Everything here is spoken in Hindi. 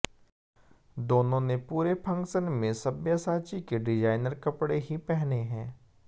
दोनों ने पूरे फंक्शन में सब्यसाची के डिजाइनर कपड़े ही पहने हैं